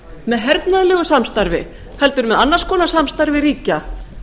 með hernaðarlegu samstarfi heldur með annars konar samstarfi ríkja